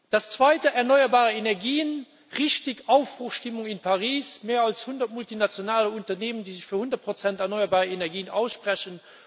Das Zweite, erneuerbare Energien Richtig, Aufbruchsstimmung in Paris, mehr als 100 multinationale Unternehmen, die sich für 100 erneuerbare Energien aussprechen.